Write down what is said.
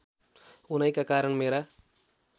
उनैका कारण मेरा